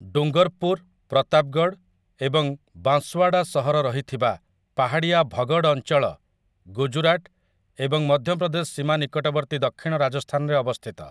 ଡୁଙ୍ଗର୍ପୁର୍, ପ୍ରତାପ୍ଗଡ଼୍ ଏବଂ ବାଂସ୍ୱାଡ଼ା ସହର ରହିଥିବା ପାହାଡ଼ିଆ ଭଗଡ଼୍ ଅଞ୍ଚଳ ଗୁଜରାଟ ଏବଂ ମଧ୍ୟପ୍ରଦେଶ ସୀମା ନିକଟବର୍ତ୍ତୀ ଦକ୍ଷିଣ ରାଜସ୍ଥାନରେ ଅବସ୍ଥିତ ।